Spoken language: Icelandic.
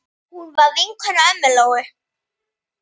Hún var vinkona ömmu Lóu.